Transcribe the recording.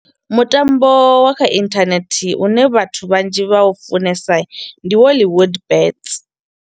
Mutambo wa kha inthanethe u ne vhathu vhanzhi vha u funesa ndi Holywood bets.